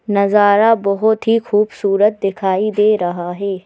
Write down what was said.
नजारा बहुत ही खूबसूरत दिखाई दे रहा है।